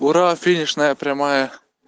ура финишная прямая